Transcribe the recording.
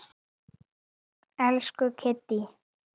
Elsku Kiddý.